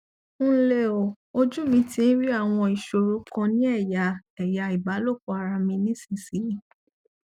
nle o ojú mi ti ń rí àwọn ìṣòro kan ní eya eya ìbálòpọ ara mi nísinsìnyí